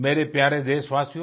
मेरे प्यारे देशवासियो